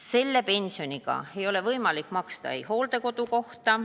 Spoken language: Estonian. Selle pensioniga ei ole võimalik maksta näiteks hooldekodukohta.